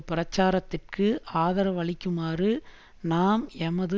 பிரச்சாரத்திற்கு ஆதரவளிக்குமாறு நாம் எமது